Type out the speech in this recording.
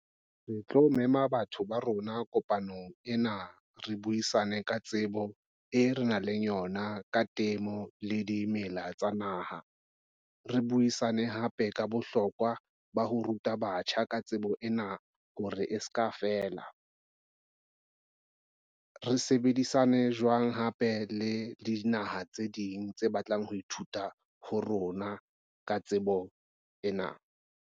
Re tlo mema batho ba rona kopanong ena re buisane ka tsebo e re nang le yona ka temo le dimela tsa naha. Re buisane hape ka bohlokwa ba ho ruta batjha ka tsebo ena hore e se ka fela. Re sebedisane jwang hape le dinaha tse ding tse batlang ho ithuta ho rona ka tsebo ena.